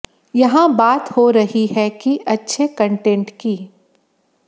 यहां बात हो रही है कि अच्छे कंटेंट की